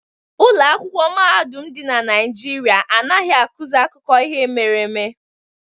Ụlọ akwụkwọ mahadum dị na Naijiria anaghị akụzi akụkọ ihe mere eme